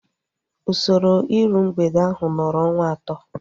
Usoro iru mgbede ahu nọrọ ọnwa atọ